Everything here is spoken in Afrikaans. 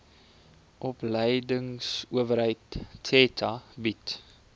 opleidingsowerheid theta bied